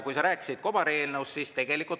Sa rääkisid kobareelnõust.